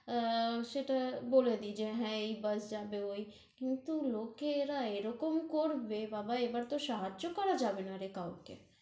আ~ সেটা বলে দেই, যে হ্যাঁ, এই bus ওই, কিন্তু লোকে, এরা এরকম করবে, বাবা এবার তহ সাহায্য় করা যাবে নারে কাওকে